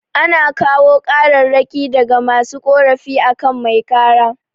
Ana kawo kararraki daga masu korafi akan mai kara